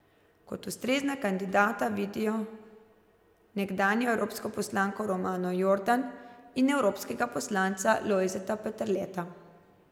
Kot ustrezna kandidata vidijo nekdanjo evropsko poslanko Romano Jordan in evropskega poslanca Lojzeta Peterleta.